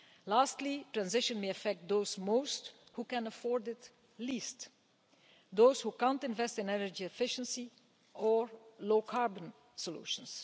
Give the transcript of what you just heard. Lastly, transition may affect most those who can afford it least those who can't invest in energy efficiency or low carbon solutions.